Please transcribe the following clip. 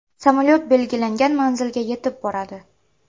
Samolyot belgilangan manzilga yetib boradi.